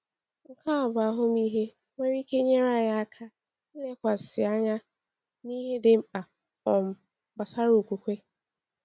Nke a bụ ahụmịhe nwere ike nyere anyị aka ilekwasị anya n’ihe dị mkpa um gbasara okwukwe.